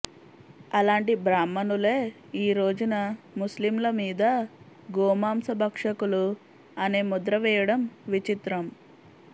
అలాంటి బ్రాహ్మణులే ఈరోజున ముస్లింల మీద గోమాంస భక్షకులు అనే ముద్ర వేయడం విచిత్రం